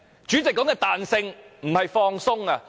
主席說的彈性不是放鬆。